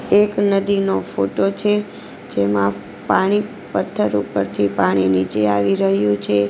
એક નદીનો ફોટો છે જેમાં પાણી પથ્થર ઉપરથી પાણી નીચે આવી રહ્યું છે.